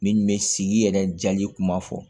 Min bɛ sigi yɛrɛ jali kuma fɔ